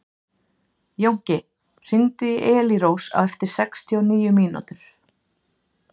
Jónki, hringdu í Elírós eftir sextíu og níu mínútur.